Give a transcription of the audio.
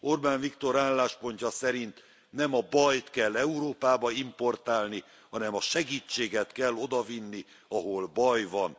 Orbán Viktor álláspontja szerint nem a bajt kell Európába importálni, hanem a segítséget kell oda vinni, ahol baj van.